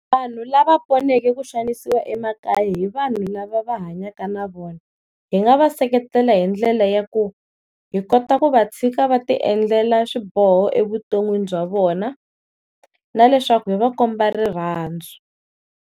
Vanhu lava poneke ku xanisiwa emakaya hi vanhu lava va hanyaka na vona hi nga va seketela hi ndlela ya ku hi kota ku va tshika va ti endlela swiboho evuton'wini bya vona na leswaku hi va komba rirhandzu.